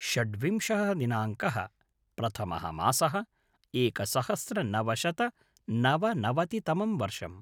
षड्विंशः दिनाङ्कः - प्रथमः मासः - एकसहस्रनवशतनवनवतितमं वर्षम्